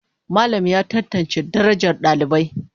Malam ya tantance darajar dalibai.